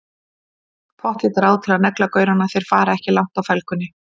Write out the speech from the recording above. Pottþétt ráð til að negla gaurana, þeir fara ekki langt á felgunni!